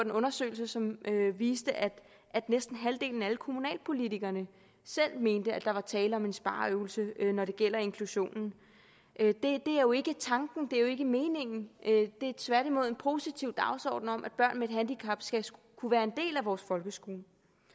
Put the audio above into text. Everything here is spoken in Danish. en undersøgelse som viste at næsten halvdelen af alle kommunalpolitikerne selv mente at der var tale om en spareøvelse når det gjaldt inklusion det er jo ikke tanken det er jo ikke meningen det er tværtimod en positiv dagsorden om at børn med et handicap skal kunne være en del af vores folkeskole